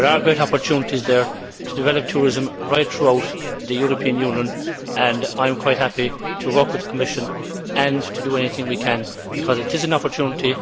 There are great opportunities there to develop tourism right throughout the European Union, and I am quite happy to work with the Commission and to do anything we can because it is an opportunity.